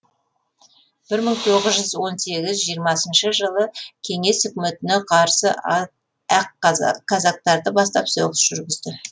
бір мың тоғыз жүз он сегіз жиырмасыншы жылы кеңес өкіметіне қарсы ақ казактарды бастап соғыс жүргізді